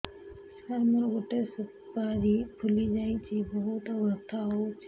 ସାର ମୋର ଗୋଟେ ସୁପାରୀ ଫୁଲିଯାଇଛି ବହୁତ ବଥା ହଉଛି